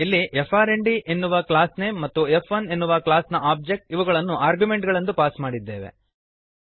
ಇಲ್ಲಿ ಫ್ರ್ಂಡ್ ಎನ್ನುವ class name ಮತ್ತು ಫ್1 ಎನ್ನುವ ಕ್ಲಾಸ್ ನ ಓಬ್ಜೆಕ್ಟ್ ಇವುಗಳನ್ನು ಆರ್ಗ್ಯುಮೆಂಟ್ ಗಳೆಂದು ಪಾಸ್ ಮಾಡಿದ್ದೇವೆ